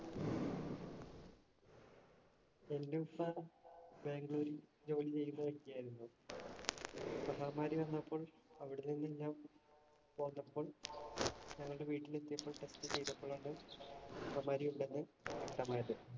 എന്‍റെ ഉപ്പ ബാംഗ്ലൂരിൽ ജോലി ചെയ്യുന്ന വ്യക്തിയായിരുന്നു. മഹാമാരി വന്നപ്പോൾ അവിടുന്നു നിന്നും പോന്നപ്പോൾ ഞങ്ങളുടെ വീട്ടിലെത്തിയപ്പോൾ test ചെയ്തപ്പോഴാണ് മഹാമാരി ഉണ്ടെന്നു വ്യക്തമായത്.